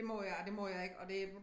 Det må jeg og det må jeg ikke og det